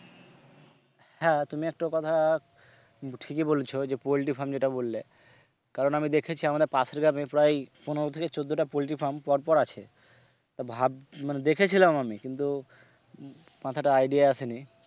হ্যাঁ তুমি একটা কথা ঠিকই বলেছো যে poultry farm যেটা বললে কারণ আমি দেখেছি আমাদের পাশের গ্রাম এ প্রায় পনেরো থেকে চোদ্দ টা poultry farm পর পর আছে তো ভাবছি মানে দেখেছিলাম আমি কিন্তু মাথাতে idea আসেনি।